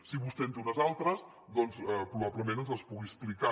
si vostè en té unes altres doncs probablement ens les pugui explicar